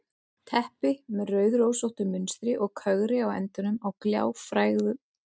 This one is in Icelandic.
Teppi með rauðrósóttu munstri og kögri á endunum á gljáfægðum gólfdúknum.